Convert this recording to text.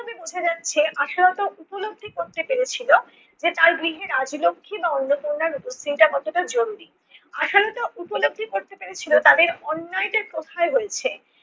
ভাবে বোঝা যাচ্ছে আশালতা উপলব্ধি করতে পেরেছিলো যে তার গৃহে রাজলক্ষী বা অন্নপূর্ণার উপস্থিতিটা কতটা জরুরি। আশালতা উপলব্ধি করতে পেরেছিলো তাদের অন্যায়টা কোথায় হয়েছে।